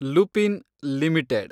Lupin limited